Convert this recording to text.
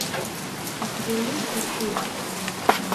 у тебя есть артур